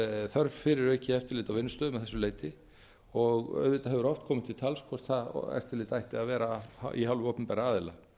þörf fyrir aukið eftirlit á vinnustöðum að þessu leyti og auðvitað hefur oft komið til tals hvort það eftirlit ætti að vera af hálfu opinberra aðila